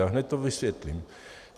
A hned to vysvětlím.